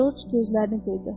Corc gözlərini qırtdı.